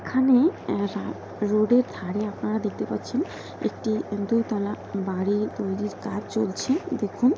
এখানে আ রা-রোড -র ধারে আপনারা দেখতে পাচ্ছেন একটি দোতালা বাড়ি তৈরীর কাজ চলছে। দেখুন--